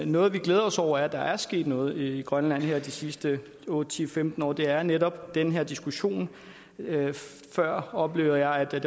noget vi glæder os over er at der er sket noget i grønland her de sidste otte ti femten år og det er netop den her diskussion før oplevede jeg det